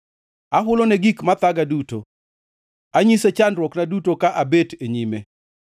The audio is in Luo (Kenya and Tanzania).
Ahulone gik mathaga duto; anyise chandruokna duto ka abet e nyime.